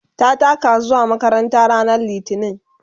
ta taka zuwa makaranta ranar litini